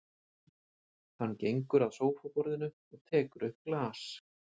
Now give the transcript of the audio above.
Hann gengur að sófaborðinu og tekur upp glas.